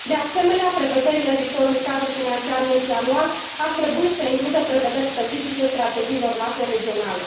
De asemenea, prevederile viitorului cadru financiar multianual ar trebui să includă prevederi specifice strategiilor macroregionale.